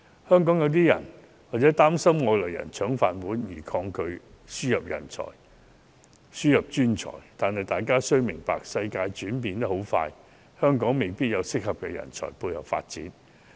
香港有些人擔心外來人"搶飯碗"而抗拒輸入專才，但大家要明白，世界轉變得很快，香港未必有適合的人才配合發展。